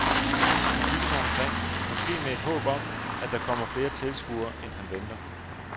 Han kigger sig omkring, måske med et håb om, at der kommer flere tilskuere, end han venter.